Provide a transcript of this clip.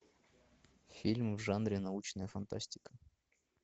фильм в жанре научная фантастика